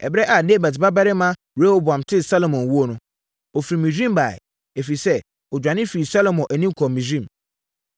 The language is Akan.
Ɛberɛ a Nebat babarima Yeroboam tee Salomo wuo no, ɔfiri Misraim baeɛ, ɛfiri sɛ, ɔdwane firii Salomo anim kɔɔ Misraim.